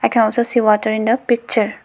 i can also see water in the picture.